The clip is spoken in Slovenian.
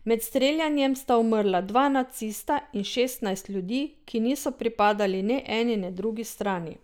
Med streljanjem sta umrla dva nacista in šestnajst ljudi, ki niso pripadali ne eni ne drugi strani.